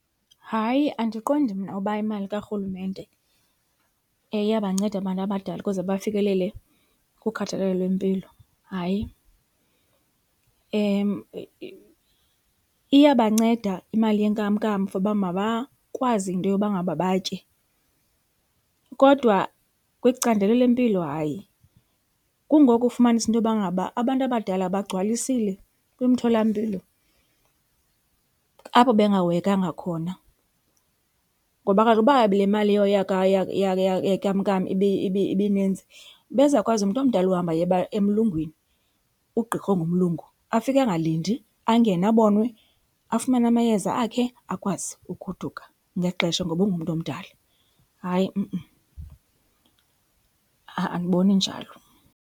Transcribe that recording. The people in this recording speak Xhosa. Hayi, andiqondi mna uba imali karhulumente iyabanceda abantu abadala ukuze bafikelele kukhathalelo lwempilo, hayi. Iyabanceda imali yenkamnkam for uba mabakwazi into yoba ngaba batye kodwa kwicandelo lempilo hayi. Kungoko ufumanise into yokuba ngaba abantu abadala bagcwalisile kumtholampilo apho bengahoyekanga khona. Ngoba kaloku uba le mali yenkamnkam ibininzi ebezawukwazi umntu omdala uhamba aye emlungwini, kugqirha ongumlungu afike angalindi angene abonwe, afumane amayeza akhe akwazi ugoduka ngexesha ngoba ungumntu omdala. Hayi , ha-a andiboni njalo.